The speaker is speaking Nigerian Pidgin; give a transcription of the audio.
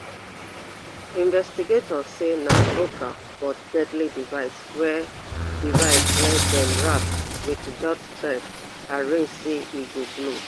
investigators say na local but deadly device wey device wey dem wrap wit jute thread arrange say e go blow